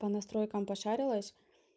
по настройкам пошарилась